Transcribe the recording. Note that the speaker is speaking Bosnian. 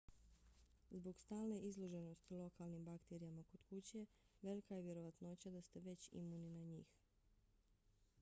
zbog stalne izloženosti lokalnim bakterijama kod kuće velika je vjerovatnoća da ste već imuni na njih